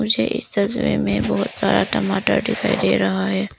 मुझे इस तस्वीर में बहुत सारा टमाटर दिखाई दे रहा है।